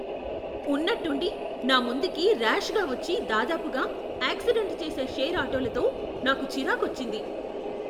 ఉన్నట్టుండి నా ముందుకి ర్యాష్గా వచ్చి దాదాపుగా ఆక్సిడెంట్ చేసే షేర్ ఆటోలతో నాకు చిరాకొచ్చింది.